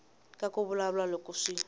ka ku vulavula loko swi